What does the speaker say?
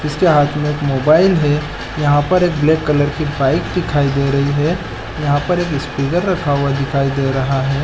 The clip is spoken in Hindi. इसके हाथ में एक मोबाईल है यहाँ पर एक ब्लैक कलर की बाइक दिखाई दे रही है यहाँ पर एक स्पीकर रखा हुआ दिखाई दे रहा हैं ।